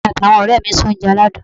Èmi àti àwon òré mi n se oúnje aládùn